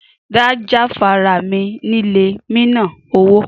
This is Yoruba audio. Da jafara mi lile mina owo!